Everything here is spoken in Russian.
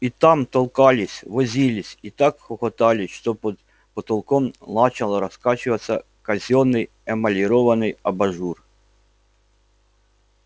и там толкались возились и так хохотали что под потолком начал раскачиваться казённый эмалированный абажур